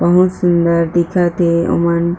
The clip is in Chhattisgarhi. बहुत सुंदर दिखत हे ओमन--